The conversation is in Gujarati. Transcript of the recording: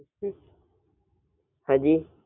હાજી